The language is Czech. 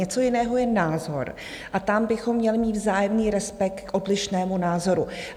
Něco jiného je názor a tam bychom měli mít vzájemný respekt k odlišnému názoru.